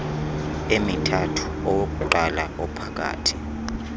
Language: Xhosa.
emithathu owokuqala ophakathi